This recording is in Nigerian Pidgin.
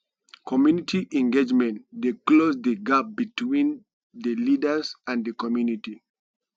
community engagement dey close di gap between di leaders and di community